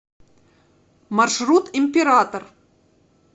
маршрут император